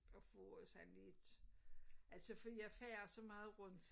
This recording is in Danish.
At få sådan lidt altså fordi jeg farer så meget rundt